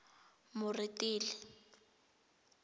moretele